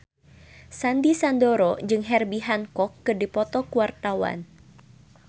Sandy Sandoro jeung Herbie Hancock keur dipoto ku wartawan